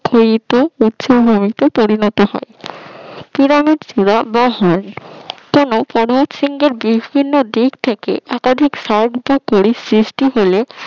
উচ্চভূমিতে পরিণত হয় পিরামিড ফিলা বা হর্ন কোন পর্বত শৃঙ্গের বিভিন্ন দিক থেকে একাধিক পরীর সৃষ্টি হলে